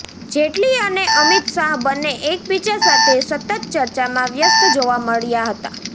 જેટલી અને અમિત શાહ બંને એકબીજા સાથે સતત ચર્ચામાં વ્યસ્ત જોવા મળ્યા હતા